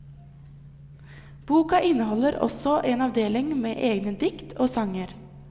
Boka inneholder også en avdeling med egne dikt og sanger.